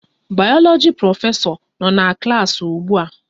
Bayoloji prọfesọ no na klas ugbua